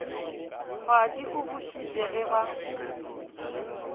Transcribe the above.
kgwadi o bušitše ge ba